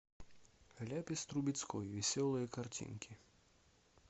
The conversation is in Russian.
ляпис трубецкой веселые картинки